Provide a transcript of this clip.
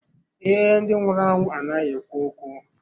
Ee, ndị nwụrụ anwụ anaghị ekwu okwu.